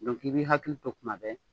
Dɔnki i bi hakili to tuma bɛɛ.